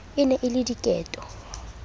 e ne e le diketo